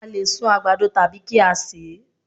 A lè sun àgbàdo tàbí kí á sè é